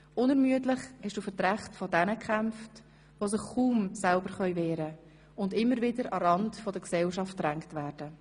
Unermüdlich hast du für die Rechte jener gekämpft, die sich kaum selber wehren können und immer wieder an den Rand der Gesellschaft gedrängt werden.